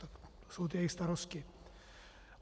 To jsou ty jejich starosti.